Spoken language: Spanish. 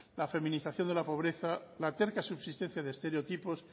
la feminización de la pobreza la terca subsistencia de estereotipos